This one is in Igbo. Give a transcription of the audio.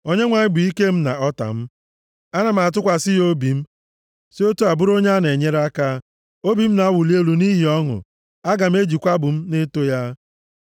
Onyenwe anyị bụ ike m na ọta m; ana m atụkwasị ya obi m, si otu a bụrụ onye a na-enyere aka. Obi m na-awuli elu nʼihi ọṅụ, aga m ejikwa abụ m na-eto ya.